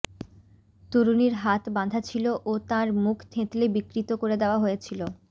তরুণীর হাত বাঁধা ছিল ও তাঁর মুখ থেঁতলে বিকৃত করে দেওয়া হয়েছিল